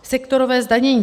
Sektorové zdanění.